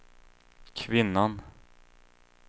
kvinnan